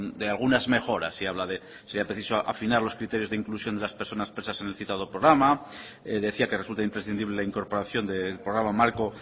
de algunas mejoras y habla de que será preciso afinar los criterios de inclusión de las personas presa en el citado programa decía que resulta imprescindible la incorporación del programa marco